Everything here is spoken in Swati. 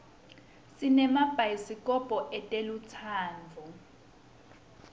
sinemabayisi kobho etelutsandvo